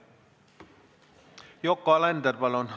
Yoko Alender, palun!